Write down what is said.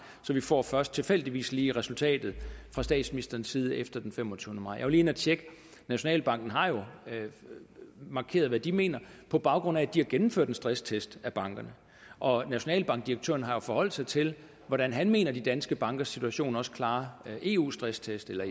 så vi får først tilfældigvis lige resultatet fra statsministerens side efter den femogtyvende maj lige inde at tjekke og nationalbanken har jo markeret hvad de mener på baggrund af at de har gennemført en stresstest af bankerne og nationalbankdirektøren har jo forholdt sig til hvordan han mener de danske bankers situation også klarer eu stresstest eller